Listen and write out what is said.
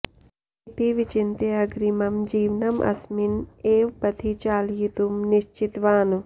इति विचिन्त्य अग्रिमं जीवनम् अस्मिन् एव पथि चालयितुं निश्चितवान्